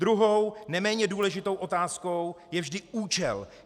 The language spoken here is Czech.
Druhou, neméně důležitou otázkou je vždy účel.